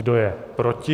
Kdo je proti?